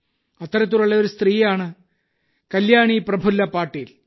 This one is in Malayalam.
അത്തരത്തിലുള്ള ഒരു സ്ത്രീയാണ് കല്യാണി പ്രഫുല്ല പാട്ടീൽ